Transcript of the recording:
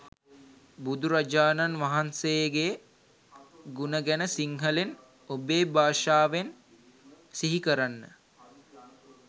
බුදුරජාණන් වහන්සේගේ ගුණ ගැන සිංහලෙන් ඔබේ භාෂාවෙන් සිහිකරන්න.